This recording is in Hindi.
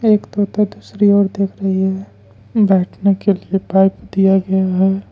एक तोता दूसरी ओर देख रही है बैठने के लिए पाइप दिया गया है।